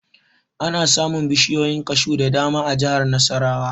Ana samun bishiyoyin kashu da dama a jihar Nasarawa